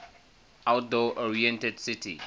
outdoor oriented city